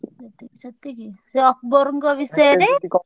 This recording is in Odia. ଯେତିକି ସେତିକି ଯୋଉ ଆକବରଙ୍କ ବିଷୟରେ ।